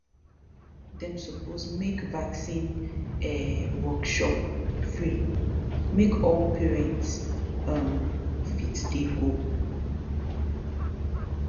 dem suppose make vaccine um workshop free make all parents um fit dey go